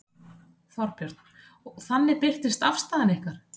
Þorbjörn: Og þannig birtist afstaða ykkar?